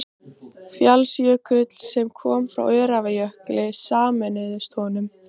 Fjallsjökull, sem koma frá Öræfajökli, sameinuðust honum.